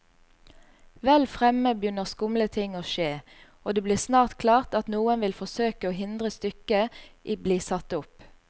Vel fremme begynner skumle ting å skje, og det blir snart klart at noen vil forsøke å hindre stykket i bli satt opp.